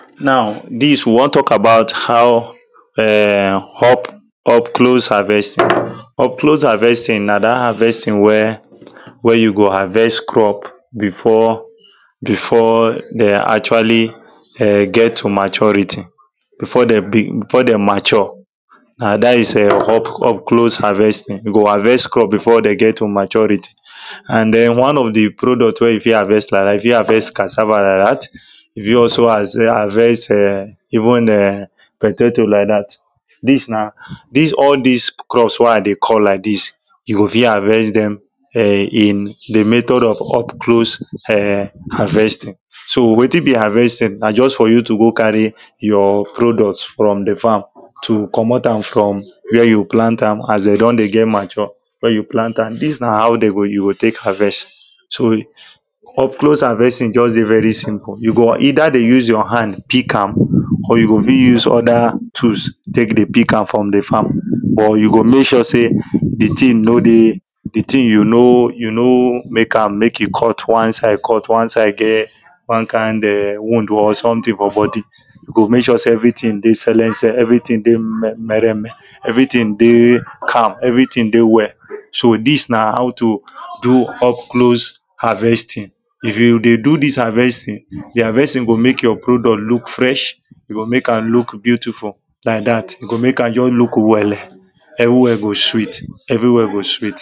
now this we wan talk about how um up up close harvesting up close harvesting na that harvesting wey wey you go harvest crop before before they actually um get to maturity before they big before they mature and that is um up up close harvesting you go harvest crop before they get to maturity and then one of the product wey you fit harvest like that you fit harvest cassava like that you fit also har harvest um even um potato like that this na this all this crops wey i dey call like this you go fit harvest them um in the method of up close um harvesting so wetin be harvesting na just for you to go carry your products from the farm to commot am from where you plant am as they don dey get mature where you plant am this na how they go you go take harvest so you up close harvesting just dey very simple you go either dey use your hand pick am or you go fit use other tools take dey pick am from the farm but you go make sure say the thing no dey the thing you no you no make am make e cut one side cut one side get one kind um wound or something for body you go make sure say everthing dey selense everything dey me mer en men everything dey calm everything dey well so this na how to do up close harvesting if you dey do this harvesting the harvesting go make your product look fresh e go make am look beautiful like that e go make am just look wele everywhere go sweet everywhere go sweet